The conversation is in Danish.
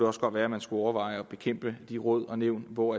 også godt være at man skulle overveje at bekæmpe de råd og nævn hvor